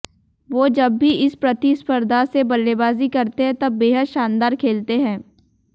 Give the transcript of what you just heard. वो जब भी इस प्रतिस्पर्धा से बल्लेबाजी करते हैं तब बेहद शानदार खेलते हैं